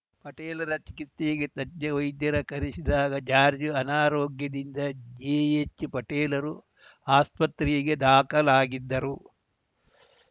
ಪಟೇಲರ ಚಿಕಿತ್ಸೆಗೆ ತಜ್ಞ ವೈದ್ಯರ ಕರೆಸಿದ್ದ ಜಾರ್ಜ್ ಅನಾರೋಗ್ಯದಿಂದ ಜೆಎಚ್‌ಪಟೇಲರು ಆಸ್ಪತ್ರೆಗೆ ದಾಖಲಾಗಿದ್ದರು